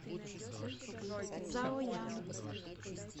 цзаоян